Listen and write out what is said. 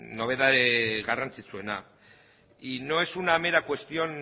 nobedade garrantzitsuena y no es una mera cuestión